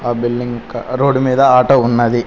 Billing ఇంకా road మీద auto ఉన్నది.